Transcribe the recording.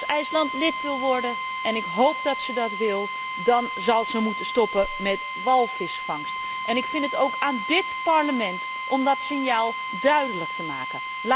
Als IJsland lid wil worden en ik hoop dat het dat wil dan zal het moeten stoppen met de walvisvangst en ik vind het ook aan dit Parlement om dat signaal af te geven.